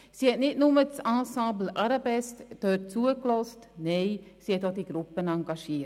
Sie hat dem Ensemble Arabesque nicht nur zugehört, nein, sie hat die Gruppe auch engagiert.